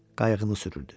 Qayığını sürürdü.